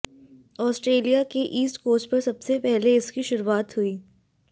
Australia के east coast पर सबसे पहले इसकी शुरुआत हुई